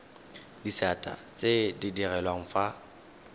disata tse di direlwang fa